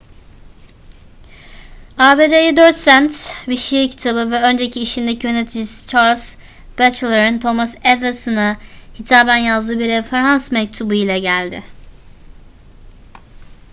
abd'ye 4 sent bir şiir kitabı ve önceki işindeki yöneticisi charles batchelor'ın thomas edison'a hitaben yazdığı bir referans mektubu ile geldi